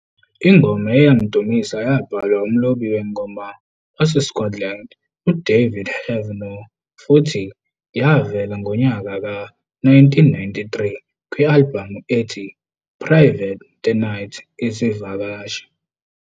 Ingoma eyayimdumisa yabhalwa umlobi wengoma waseScotland uDavid Heavenor futhi yavela ngonyaka ka-1993 kwi-albhamu ethi "Private The Night izivakashi".